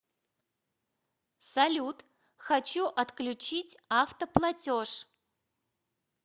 салют хочу отключить авто платеж